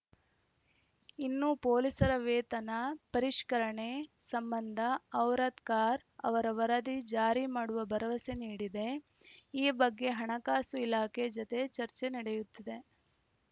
ಇನ್ನು ಪೊಲೀಸರ ವೇತನ ಪರಿಷ್ಕರಣೆ ಸಂಬಂಧ ಔರದ್ಕಾರ್‌ ಅವರ ವರದಿ ಜಾರಿ ಮಾಡುವ ಭರವಸೆ ನೀಡಿದೆ ಈ ಬಗ್ಗೆ ಹಣಕಾಸು ಇಲಾಖೆ ಜತೆ ಚರ್ಚೆ ನಡೆಯುತ್ತಿದೆ